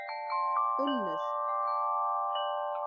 Unnur